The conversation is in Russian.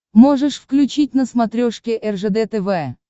можешь включить на смотрешке ржд тв